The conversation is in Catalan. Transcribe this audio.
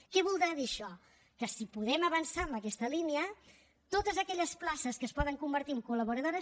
què voldrà dir això que si podem avançar en aquesta línia totes aquelles places que es poden convertir en col·laboradores